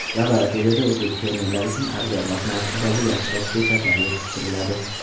Laboratoriyada o‘zbek fermerlari uchun arzonroq narxdagi yaxshiroq ko‘chatlar yetishtiriladi.